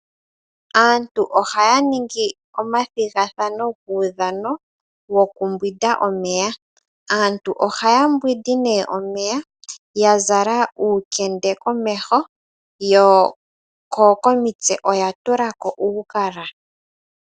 Aantu ohaya ningi omathigathano guudhano wo ku mbwinda omeya. Aantu oha ya mbwindi nee omeya, ya zala uukende komeho ko komitse oya tula ko uugala.